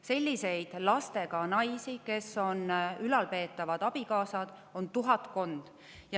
Selliseid lastega naisi, kes on ülalpeetavad abikaasad, on tuhatkond.